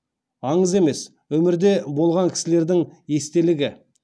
аңыз емес өмірде болған кісілердің естелігі